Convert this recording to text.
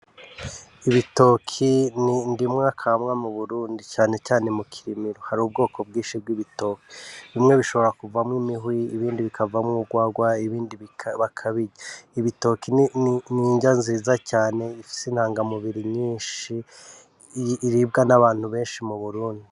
Ibitoki ni ndimwe kamwa mu burundi canecane mu kirimiro hari ubwoko bwinshi bw'ibitoki bimwe bishobora kuvamwo imihwi ibindi bikavamwo urwagwa ibindi bakabirya ibitoki ninja nziza cane ifise intanga mubiri nyinshi iribwa n'abantu benshi mu burundi.